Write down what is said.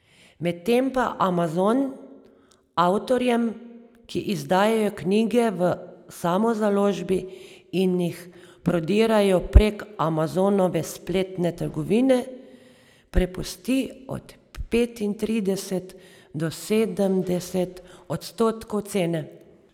Medtem pa Amazon avtorjem, ki izdajajo knjige v samozaložbi in jih prodajajo prek Amazonove spletne trgovine, prepusti od petintrideset do sedemdeset odstotkov cene.